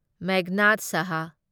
Meghnad Shah